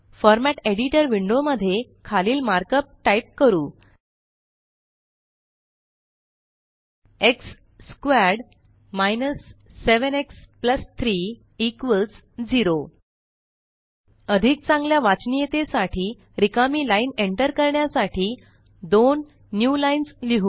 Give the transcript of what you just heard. format editor window मध्ये खालील markup type करू x squared minus 7 x plus 3 0 अधिक चांगल्या वाचनियतेसाठी रिकामी लाइन एंटर करण्यासाठी दोन न्यूलाईन्स लिहु